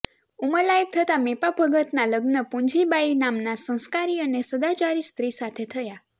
ઉંમરલાયક થતા મેપાભગત ના લગ્ન પુંજીબાઇ નામના સંસ્કારી અને સદાચારી સ્ત્રી સાથે થયા